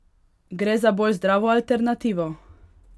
Gre za bolj zdravo alternativo?